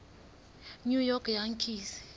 new york yankees